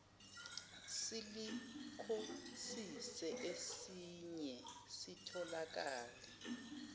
silikhosisi esiye sitholakale